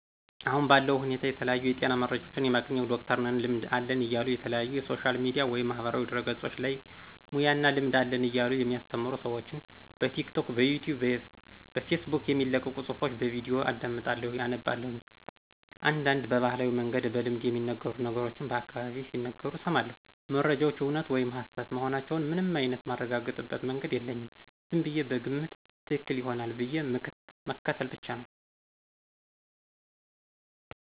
አሁን ባለው ሁኔታ የተለያዩ የጤና መረጃዎችን የማገኝው ዶክተርነን ልምድ አለን እያሉ የተለያዩ ሶሻል ሚዲያ ወይም ማህበራዊ ድህረገፆች ላይ ሙያ እና ልምድ አለን እያሉ የሚያስተምሩ ስዎችን በቲክቶክ፣ ብኢትዩብ፣ በፌስቡክ የሚለቀቁ ፁሑፎች፣ ቪዲዮችን አዳምጣለሁ አነባላሁ፣ እንዳንድ በባህላዊ መንገድ በልምድ የሚነገሩ ነገሮችን በአካባቢየ ሲናገሩ እስማለሁ። መረጃዎች እውነት ወይም ሀሰት መሆናቸውን ምንም አይንት ማረጋግጥበት መንገድ የለኝም ዝምብየ በግምት ትክክል ይሆናል ብዬ ምክትል ብቻ ነው።